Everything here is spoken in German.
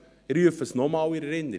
Ich rufe es nochmals in Erinnerung: